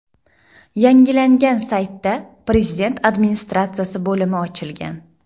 Yangilangan saytda Prezident Administratsiyasi bo‘limi ochilgan.